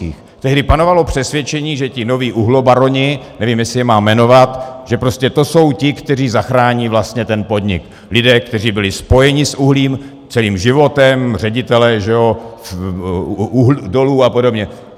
Tehdy panovalo přesvědčení, že ti noví uhlobaroni, nevím, jestli je mám jmenovat, že prostě to jsou ti, kteří zachrání vlastně ten podnik, lidé, kteří byli spojeni s uhlím, celým životem, ředitelé dolů a podobně.